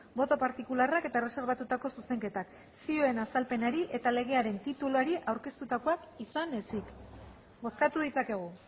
boto partikularrak eta erreserbatutako zuzenketak zioen azalpenari eta legearen tituluari aurkeztutakoak izan ezik bozkatu ditzakegu